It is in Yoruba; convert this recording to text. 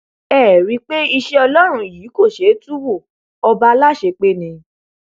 ẹ ẹ rí i pé iṣẹ ọlọrun yìí kò ṣeé tú wo ọba aláṣepé ni